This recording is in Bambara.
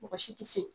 Mɔgɔ si tɛ se